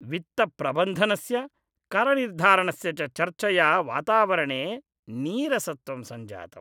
वित्तप्रबन्धनस्य, करनिर्धारणस्य च चर्चया वातावरणे नीरसत्वं सञ्जातम्।